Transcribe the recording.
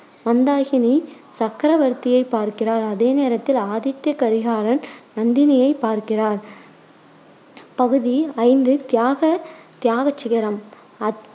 மந்தாகினி சக்கரவர்த்தியைப் பார்க்கிறார். அதே நேரத்தில் ஆதித்த கரிகாலர் நந்தினியை பார்க்கிறார். பகுதி ஐந்து தியாக தியாக சிகரம் அத்~